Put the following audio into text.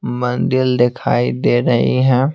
मंदिर दिखाई दे रही हैं।